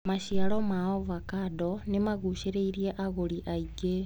Maciaro ma avocando nĩmagucĩrĩirie agũri aingĩ.